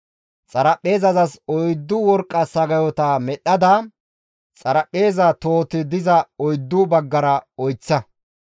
Xaraphpheezazas oyddu worqqa sagayota medhdhada, xaraphpheeza tohoti diza oyddu baggara oyththa.